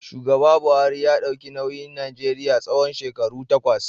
Shugaba Buhari ya dauki nauyin Najeriya tsawon shekaru takwas.